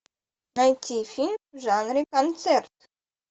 найти фильм в жанре концерт